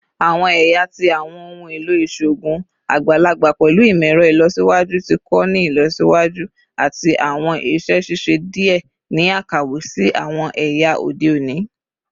Awọn ẹya ti awọn ohun elo iṣoogun agbalagba pẹlu imọ-ẹrọ ilọsiwaju ti ko ni ilọsiwaju ati awọn iṣẹ ṣiṣe diẹ ni akawe si awọn ẹya ode oni